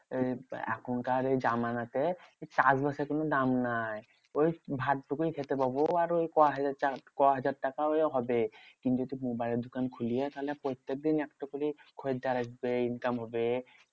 এই এখনকার এই জামানতে চাষবাসের কোনো দাম নাই। ওই ভাতটুকুই খেতে পাবো আর ওই ক হাজার টাকা ক হাজার টাকাই হবে। কিন্তু তুই মোবাইলের দোকান খুললে তাহলে প্রত্যেক দিন একটা করে খরিদ্দার আসবে, income হবে।